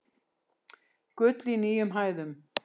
Gull í nýjum hæðum